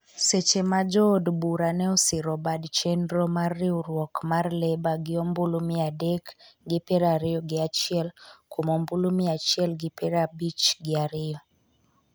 seche ma jood bura ne osiro bad chenro mar riwruok mar Labour gi ombulu miya adek gi piero ariyo gi achiel kuom ombulu miya achiel gi piero abich gi ariyo